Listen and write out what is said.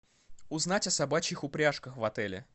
узнать о собачьих упряжках в отеле